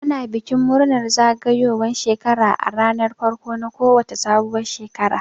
Ana bikin murnar zagayowan shekara a ranar farko na ko wace sabuwar shekara